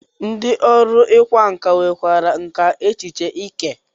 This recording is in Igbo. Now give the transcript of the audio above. Ndị ọrụ ịkwa nkà nwekwara nkà echiche eke.